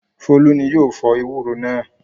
Folú ni yóò fọ ewúro náà.